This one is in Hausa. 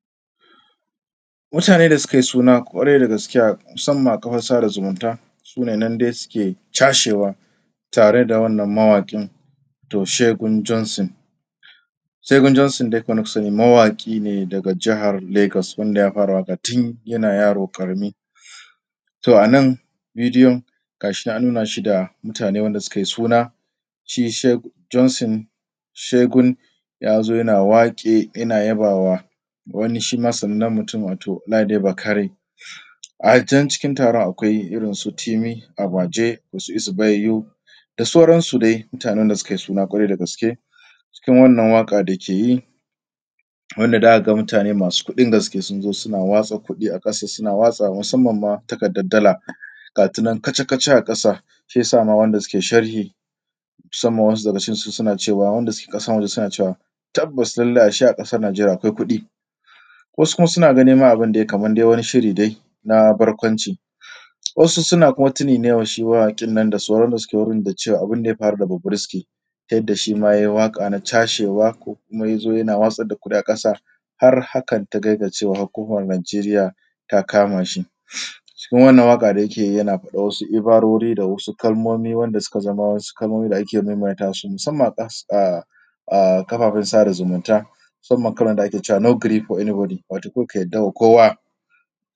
Mutane da suka yi suna kwarai da gaske, musamman a kafan sada zumunta su ne nan dai suke cashewa tare da wannan mawaƙin Shegu Jensun. Shegu Jensun dai kamar yadda kuka sani mawaƙi ne daga Jihar Lagos wanda ya fara waƙa tun yana yaro ƙarami. To anan bidiyon ga shi nan an nuna shi da mutane wanda suka yi suna, shi Shegu Jensun. Shegun ya zo yana waƙe, yana yaba ma wani shima sanannen mutum wato Ladi Bakare. A can cikin taron akwai irin su Timi Abaje, Osisi Baiyo, da sauransu dai mutane da suka yi suna kwarai da gaske. Cikin wannan waƙa da yake yi wanda zaka ga mutane masu kuɗin gaske sun zo suna watsa kuɗi a ƙasa, suna watsawa musamman takardar dala, ga ta nan kaca-kaca a ƙasa. Shi yasa ma waɗanda suke sharhi, musamman wasu daga cikinsu suke cewa, waɗanda suke ƙasan waje suna cewa tabbas ashe a ƙasan Nijeriya akwai kuɗi. Wasu ma suna ganin abin ma kamar wani shiri dai ba barkwanci, wasu kuma suna tunani ne wa shi mawaƙin nan da sauran waɗanda suke wurin dacewa da abinda ya faru da Bobrisky, ta yadda shima ya yi waƙa na cashewa ko kuma ya zo yana watsar da kuɗi a ƙasa har hakan ta kai ga cewa hukumomin Nijeriya ta kama shi. Cikin wannan waƙa dai da yake yi yana faɗan wasu ibarori da wasu kalmomi wanda suka zama wasu kalmomi da ake maimaita su, musamman a kafaffen sada zumunta, musamman kamar da ake cewa no gree for everybody wato kar ka yarda wa kowa.